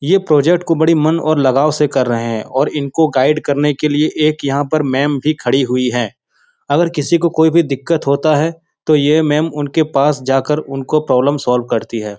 ये प्रोजेक्ट को बड़ी मन और लागाव से कर रहे हैं और इनको गाइड करने के लिए एक यहाँ पर मेम भी खड़ी हुई हैं अगर किसी को भी कोई दिक्कत होता है तो ये मेम उनके पास जाकर उनको प्रॉब्लम सोल्व करती हैं।